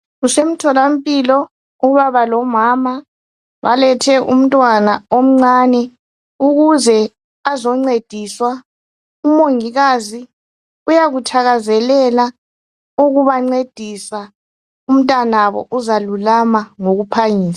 Kusemtholampila ubaba lomama balethe umntwana omncane ukuze azoncediswa umongikazi uyakuthakazelela ukubancedisa umntwanabo uzalulama ngokuphangisa.